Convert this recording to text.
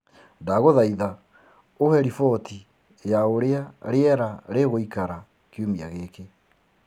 ndagũthaĩtha uhe riboti ya uria rĩera rĩgũĩkara kĩumĩa giki